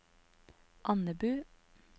Andebu